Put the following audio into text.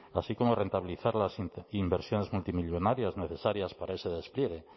así como rentabilizar las inversiones multimillónarias necesarias para ese despliegue